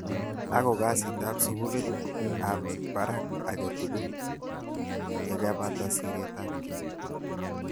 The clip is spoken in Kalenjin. Ako kasit ab sukulit ab baraka ake tugul yekepata siret ab kei.